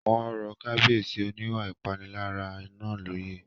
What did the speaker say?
Wọ́n rọ Kábíyèsí oníwà ìpániláyà náà lóyè